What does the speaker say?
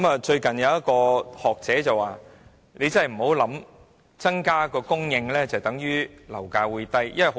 最近有一位學者說，大家不要以為供應增加，樓價便會下跌。